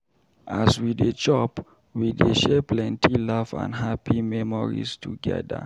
As we dey chop, we dey share plenty laugh and happy memories together.